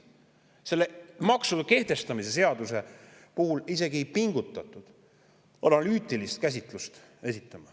Selle maksu kehtestamise seaduse puhul isegi ei pingutatud, et esitada alternatiivi analüütiline käsitlus.